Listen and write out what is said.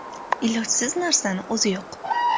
Ilojsiz narsani o‘zi yo‘q.